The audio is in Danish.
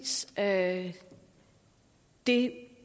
at det